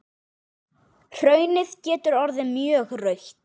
Hraunið getur orðið mjög rautt.